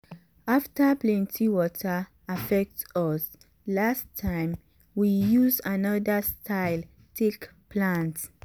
after plenty water affect us last time we use another style take plant.